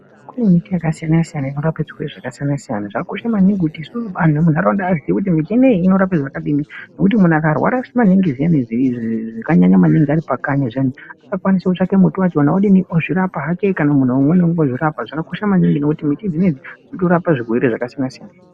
Kune miti yakasiyanasiyana inorape zvirwere zvakasiyanasiyana zvakakosha maningi kuti anhu emunharaunda aziye kuti miti inoyi inorapa zvakadini ngokuti munhu akarwara maningi zvakanyanya maningi aripakanyi zviyani unokwanise kutsvake muti wachona odinini ozvirapa hake kana umweni munhu ozvirapa zvakakosha maningi ngekuti miti dzinodzi dzinorape zvirwere zvakasiyanasiyana.